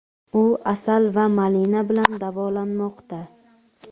U asal va malina bilan davolanmoqda.